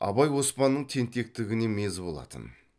абай оспанның тентектігінен мезі болатын